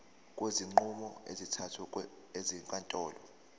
kwezinqumo ezithathwe ezinkantolo